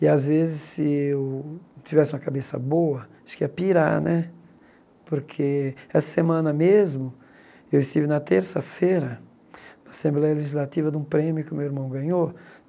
E, às vezes, se eu tivesse uma cabeça boa, acho que ia pirar né, porque essa semana mesmo, eu estive na terça-feira, na Assembleia Legislativa, de um prêmio que o meu irmão ganhou.